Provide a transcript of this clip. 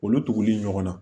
Olu tuguli ɲɔgɔn na